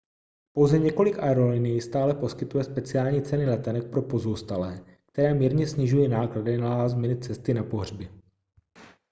pouze několik aerolinií stále poskytuje speciální ceny letenek pro pozůstalé které mírně snižují náklady na last-minute cesty na pohřby